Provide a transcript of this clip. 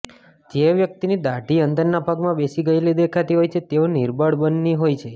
જે વ્યક્તિની દાઢી અંદરના ભાગમાં બેસી ગયેલી દેખાતી હોય તેઓ નિર્બળ મનની હોય છે